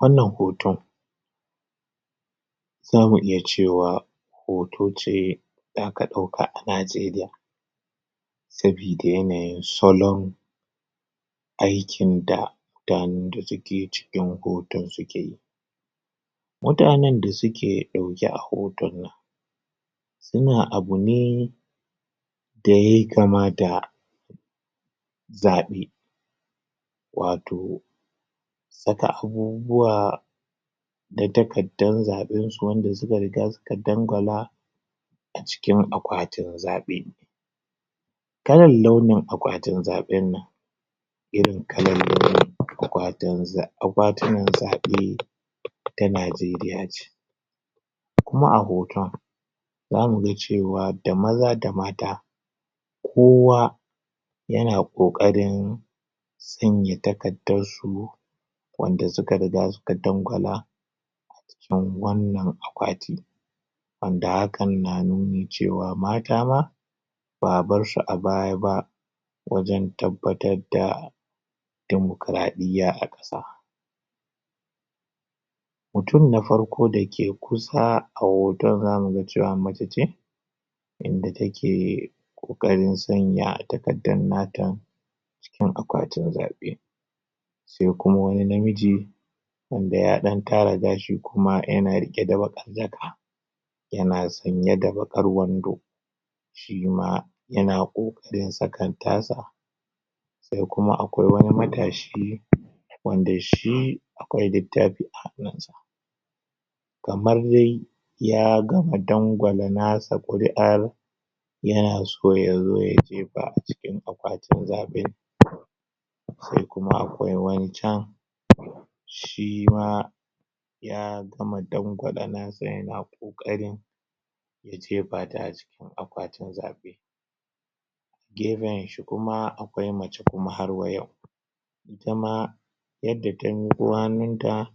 wannan hoton zamu iya cewa hoto ce zaka dauka a najeriya sabida yanayin salon aikin da da take cikin hoton suke mutanan da suke dauke a hotan nan suna abune da yayi kama da zabe wato saka abubuwa na takaddan zabansu wanda suka riga suka dangwala a cikin akwatin zabe kalan launin akwatin zabin nan irin kalan launin um akwatin akwatinan zabe ta najeriya ce kuma a hotan zamuga cewa da maza da mata kowa yana kokarin sanya takaddansu wanda suka riga suka dangwala a jikin wannan akwati wanda hakan na nuni cewa mata ma ba'a barsu a baya ba wajan tabbatar da dimukuradiyya a kasa mutum na farko dake kusa a hotan zamu ga cewa mace ce inda take kokarin sanya takaddan nata a cikin akwatin zabe sai kuma wani namiji wanda ya dan tara gashi kuma yana rike da bakar jaka yana sanye da bakar wando shima yana kokarin saka tasa sai kuma akwai wani um matashi wanda shi akwai littafi a hannunsa kamar dai ya gama dangwala nasa kuri'ar yana so yazo ya jefa a cikin akwatin zabe sai kuma akwai wani can shima um ya gama dangwala nasa yana kokarin ya je fata a cikin akwatin zabe gefen shi kuma akwai mace kuma har wa yau itama yadda ta miko hannunta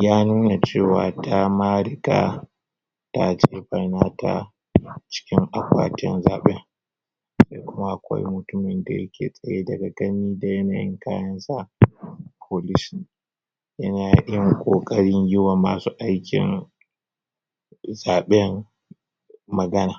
ya nuna cewa tama riga ta gefa nata a cikin akwatin zabin sai kuma akwai mutumin da yake tsaye daga gani da yanayin kayansa police ne yanayin kokarin yiwa masu aikin zabin magana